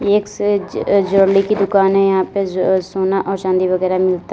एक से ज ज्वेलरी की दुकान है यहां पे सोना और चांदी वगैरा मिलता--